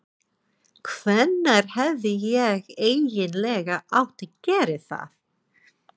Hvenær hefði ég eiginlega átt að gera það?